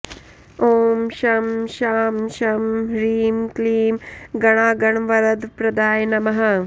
ॐ शं शां षं ह्रीं क्लीं गणागणवरदप्रदाय नमः